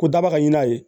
Ko daba ka ɲin'a ye